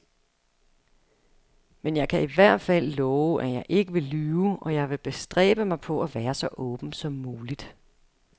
Men jeg kan i hvert fald love, at jeg ikke vil lyve, og jeg vil bestræbe mig på at være så åben som muligt.